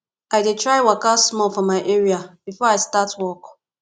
i dey try waka small for my area before i start work